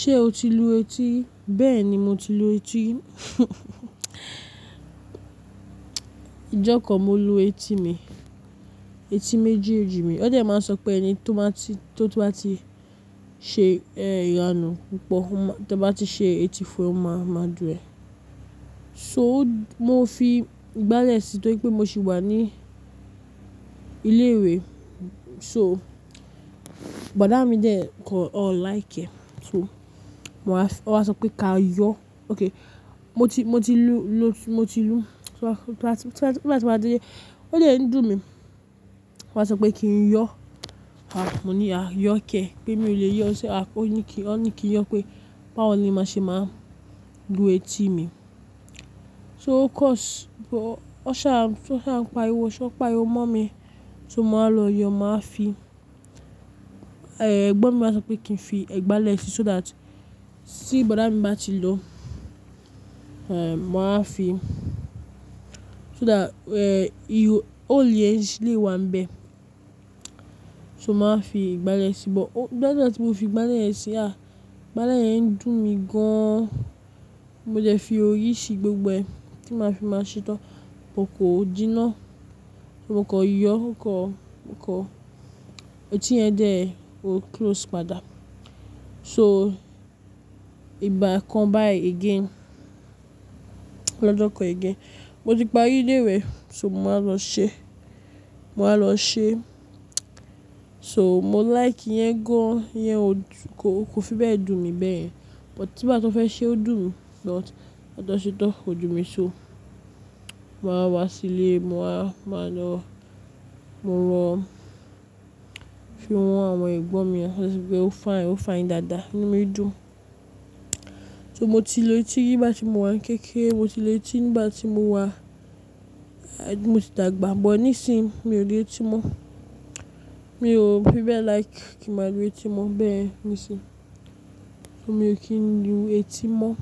Ṣé o ti lu etí? Bẹ́ẹ̀ ni mo ti lu etí. Ijọ́ kan mo lu etí mi, etí méjì èjì mi. Óde máa ń sọ pé ẹni tó bá ti, ṣe ẹranù púpọ̀, tó bá ti ṣe etí fún ẹ ó máa, máa dùn ẹ́. Mo fi ìgbálẹ̀ síi torí pé mo sì wà ní ilé ìwé. Bọ̀dá mi dẹ̀ kọ̀ like ẹ́. Mo wá, ó wá sọ pé ká yọ. Mo ti, mo ti lu, mo ti lu. Torí láti, torí láti máa dé yẹn, ó jẹ́ ń dùn mí. Ó wá sọ pé kí n yọ. Ah, mo ní a yọ kẹ́, pé mi ò lè yọ ó. Ṣé a, ó ní kí, ó ní kí yọ pé báwo ni máṣe máa lu etí mi. So of course, bọ̀ọ́, ó ṣà, tó ṣà ń pariwo, ṣọ́ pa o mọ́ mi tó máa lọ yọ. Máa fi, eh, ẹ̀gbọ́n mi wá sọ pé kí n fi ẹ̀gbálẹ̀ síi so that tí bọ̀dá mi bá ti lọ, eh, máa fi, so that, eh, ìhò, ó ò lè ṣílé wa ń bẹ. So máa fi ìgbálẹ̀ síi. Ṣùgbọ́n bí láti ìgbà tí mo fi ìgbálẹ̀ yẹn sí i, à, ìgbálẹ̀ yẹn ń dùn mí gan an. Mo jẹ́ fi orí síi gbogbo ẹ. Kí máa fi máa ṣe tán. Ò kò díná. Mo kọ̀ yọ, kọ̀, kọ̀. Etí yẹn dẹ̀, ó close padà. So ìgbà kan báyìí again, lọ́jọ́ kan again, mo ti parí ilé ìwé, so mo máa lọ ṣe, màá lọ ṣe. So mo like yẹn gan an, yẹn o dùn, kò, kò fi bẹ́ẹ̀ dùn mí bẹ́ẹ̀. Bọ̀ tí bá tó fẹ́ ṣe ó dùn mí lọ́t, látọ̀ṣẹ́ tán ó dùn mí so. Mo máa wá sílé, mo máa lọ, mo rán fi rán àwọn ẹ̀gbọ́n mi. Wọ́n fún mi pé ó fine, ó fine dáadáa nínú mi dùn. So mo ti lu etí nígbà tí mo wà ní kéékèè. Mo ti lu etí nígbà tí mo wà, eh, mo ti dàgbà, bọ̀ọ́ níìsín mi ò lu etí mọ́. Mi ò fi bẹ́ẹ̀ like kí màá lu etí mọ́ bẹ́ẹ̀ níìsín. Mi ò kí ń lu etí mọ́.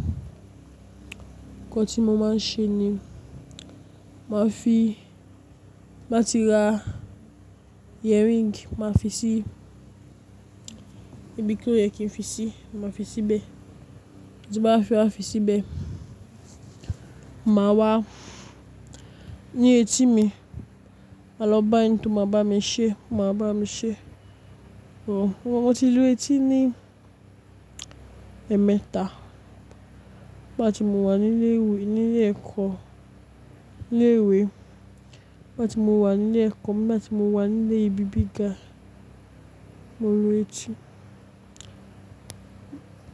Ǹjẹ́ kí mo máa ń ṣe ni, màá fi, màá ti ra earring, màá fi sí ibi tí ó yẹ kí n fi síi, màá fi sí bẹ́ẹ̀. Tí bá fi á, fi sí bẹ́ẹ̀. Màá wá ní etí mi máa lọ bá ẹni tó máa bá mi ṣe, máa bá mi ṣe. Mo, mo ti lu etí ní ẹ̀mẹ́ta. Nígbà tí mo wà ní ilé ìwé, ní ilé ẹ̀kọ́, ní ilé ìwé. Nígbà tí mo wà ní ilé ẹ̀kọ́, nígbà tí mo wà ní ilé ibi gíga, mo lu etí.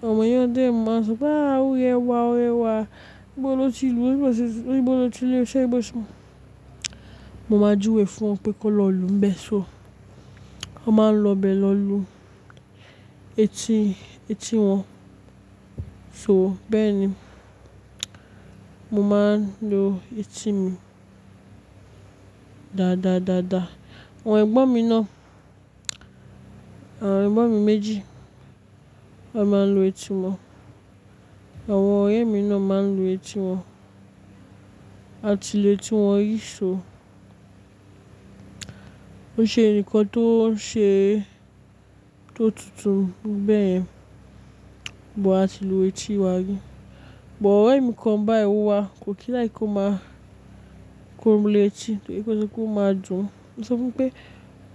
Àwọn ènìyàn dẹ̀ ń máa sọ pé a, ó rẹwà, ó rẹwà. Níbo lọ ti lu? Níbo lọ ti lu etí ẹ bọ́sì. Mo máa júwe fún wọn pé kó lọ lu ń bẹ. So wọ́n máa ń lọ bẹ lọ lu etí, etí wọn. So bẹ́ẹ̀ ni, mo máa ń lu etí mi dáadáadáàdá. Àwọn ẹ̀gbọ́n mi náà, àwọn ẹ̀gbọ́n mi méjì wọ́n máa ń lu etí wọn. Àwọn ọ̀rẹ́ mi náà máa ń lu etí wọn. A ti lu etí wọn rí. So ó ṣe ǹkan tó ṣe, tó tutù bẹ́ẹ̀ bó a ti lu etí wa ni. Bọ̀ ọ̀rẹ́ mi kan báa èwo wà kò kí like kó máa kó mi lu etí torí pé ó sọ pé ó máa dùn. Mo sọ fún pé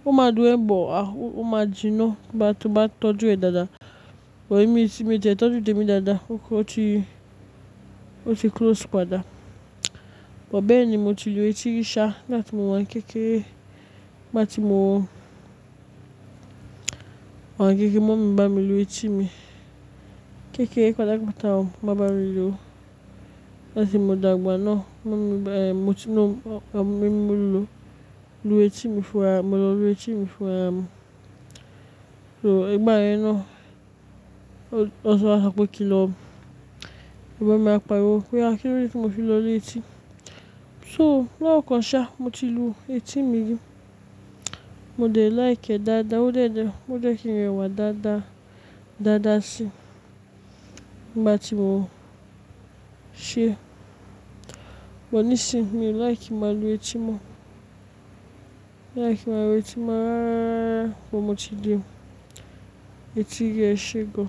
o máa dùn ẹ́ bọ̀ a, o máa dùn náà bá tí wọ́n bá tọ́jú ẹ dáadáa. Ọ̀rẹ́ mi tí mo jẹ́ tọ́jú tèmi dáadáa. Ó ti, ó ti close padà. Bọ̀ bẹ́ẹ̀ ni mo ti lu etí rí ṣá. Látì mo wà ní kéékèè, nígbà tí mo wà ní kéékèè, màámi bá mi lu etí mi. Kéékèè kọ́ dàgbà tán màá bá mi lu. Látì mo dàgbà náà màámi bá èmí, mo ti mọ̀, àwọn mìíràn mú lu, lu etí mi fún ẹ. Mo lọ lu etí mi fún ẹ. So ìgbà yẹn náà ó sọ wá sọ pé kí n lọ. Ẹ̀gbọ́n mi á pariwo pé a kíló ni kí mo fi lọ lu etí. So lọ́kàn ṣá mo ti lu etí mi rí. Mo dẹ̀ like ẹ́ dáadáa. Ó jẹ́ dẹ̀, ó jẹ́ kí n rẹwà dáadáa, dáadáa síí nígbà tí mo ṣe é. Bọ̀ níìsín mi ò like kí màá lu etí mọ́. Mi ò like kí màá lu etí mọ́. Ṣùgbọ́n mo ti di etí gẹ́ṣẹ́ gan.